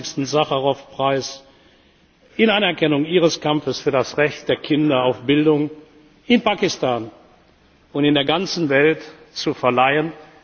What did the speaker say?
den 25. Sacharow Preis in Anerkennung Ihres Kampfes für das Recht der Kinder auf Bildung, in Pakistan und auf der ganzen Welt, zu verleihen.